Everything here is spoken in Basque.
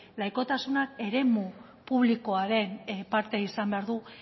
laikotasunak eremu publikoaren parte izan behar du